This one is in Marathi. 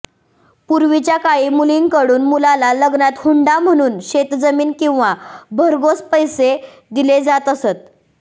पूर्वीच्या काळी मुलीकडून मुलाला लग्नात हुंडा म्हणून शेतजमीन किंवा भरगोस पैसे दिले जात असत